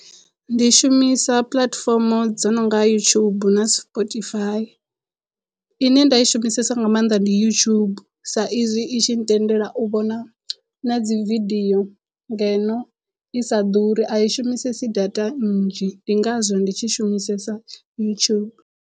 Ndi shumisa puḽatifomo dzo nonga yutshubu na spotify ine nda i shumisesa nga maanḓa ndi yutshubu sa izwi i tshi ntendela u vhona na dzivideo ngeno i sa ḓuri a i shumisesi data nnzhi ndi ngazwo ndi tshi shumisesa yutshubu.